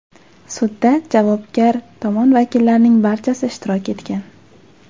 Sudda javobgar tomon vakillarining barchasi ishtirok etgan.